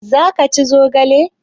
Za ka ci zogale?